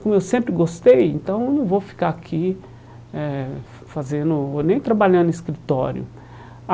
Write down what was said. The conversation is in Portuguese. Como eu sempre gostei, então não vou ficar aqui eh fa fazendo nem trabalhando em escritório.